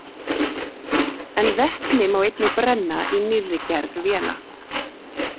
En vetni má einnig brenna í nýrri gerð véla.